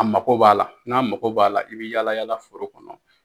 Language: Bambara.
A mago b'a la n'a mako b'a la i bi yalayala foro kɔnɔ.